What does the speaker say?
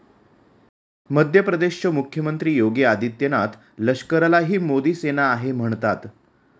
मध्य प्रदेशचे मुख्यमंत्री योगी आदित्यनाथ लष्कराला ही मोदी सेना आहे म्हणतात.